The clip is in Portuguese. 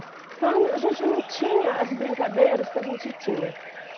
Então, a gente não tinha as brincadeiras que a gente tinha.